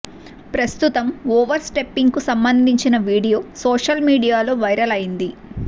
ప్రస్తుతం ఓవర్ స్టెపింగ్కు సంబందించిన వీడియో సోషల్ మీడియాలో వైరల్ అయింది